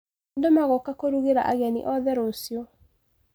Andũ magoka kũrugĩra ageni othe rũcio.